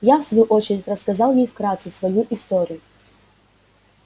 я в свою очередь рассказал ей вкратце свою историю